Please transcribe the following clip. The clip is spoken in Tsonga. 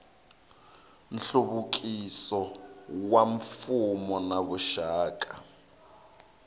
nhluvukiso wa mfuwo na vuxaka